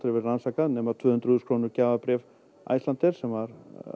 verið rannsakað nema tvö hundruð þúsund krónu gjafabréf Icelandair sem var